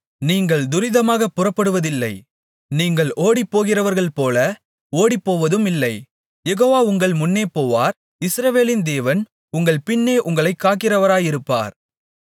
நீங்கள் துரிதமாகப் புறப்படுவதில்லை நீங்கள் ஓடிப்போகிறவர்கள்போல ஓடிப்போவதுமில்லை யெகோவா உங்கள் முன்னே போவார் இஸ்ரவேலின் தேவன் உங்கள் பின்னே உங்களைக் காக்கிறவராயிருப்பார்